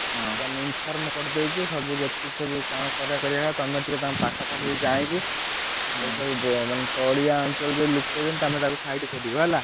ଏଇଟା inform କରିଦେଉଛି ତୁ ସବୁ ଯେତିକି ସବୁ କଣ କରିଆ କଥା କରିବ। ତମେ ଟିକେ ତାଙ୍କ ପାଖାପାଖି ଟିକେ ଯାଇକି ତଳିଆ ଅଞ୍ଚଳର ଜଉ ଲୋକ ତମେ ତାଙ୍କୁ ସବୁ side କରିବ ହେଲା।